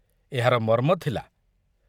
ଏହାର ମର୍ମ ଥିଲା